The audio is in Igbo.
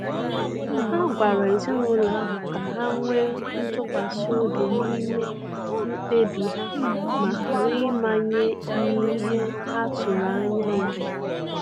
Ha gwara ezinụlọ ahụ ka ha nwee ntụkwasi obi n'ime mkpebi ha ma ghara ịmanye n'ihe ha tụrụ anya ya.